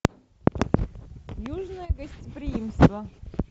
южное гостеприимство